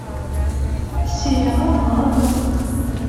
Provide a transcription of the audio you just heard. сериал глоток